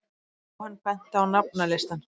Jóhann benti á nafnalistann.